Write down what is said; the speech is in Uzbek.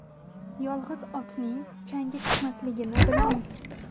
Yolg‘iz otning changi chiqmasligini bilamiz.